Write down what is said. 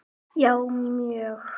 Já mjög